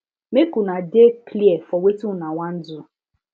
mk una de clear for wetin una wan do